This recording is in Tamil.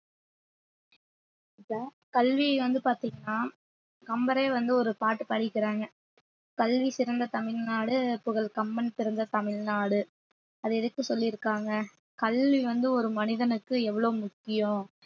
இப்ப கல்வி வந்து பார்த்தீங்கன்னா கம்பரே வந்து ஒரு பாட்டு படிக்கிறாங்க கல்வி சிறந்த தமிழ்நாடு புகழ் கம்பன் பிறந்த தமிழ்நாடு அது எதுக்கு சொல்லியிருக்காங்க கல்வி வந்து ஒரு மனிதனுக்கு எவ்வளவு முக்கியம்